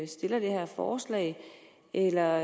stiller det her forslag eller